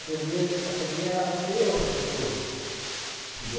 Aprender também a ser a outra pessoa.